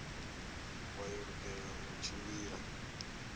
vha yo lugela u tshimbila